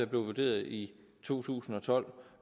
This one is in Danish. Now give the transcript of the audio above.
blev vurderet i to tusind og tolv